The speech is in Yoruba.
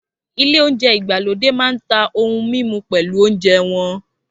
Ilé oúnjẹ ìgbàlódé máa ń ta ohun mímu pẹ̀lú oúnjẹ wọn